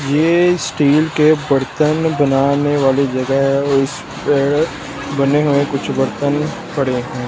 ये स्टील के बर्तन बनाने वाली जगह है और इस पे बने हुए कुछ बर्तन पड़े हैं।